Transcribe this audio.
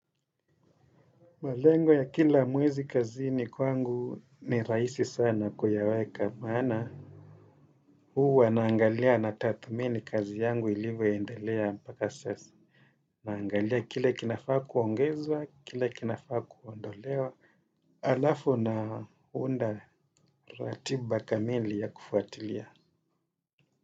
Malengo ya kila mwezi kazini kwangu ni rahisi sana kuyaweka maana huwa naangalia na tathmini kazi yangu ilivyoendelea mpaka sasa. Naangalia kile kinafaa kuongezwa, kile kinafaa kuondolewa. Alafu naunda ratiba kamili ya kufuatilia.